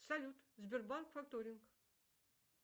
салют сбербанк факторинг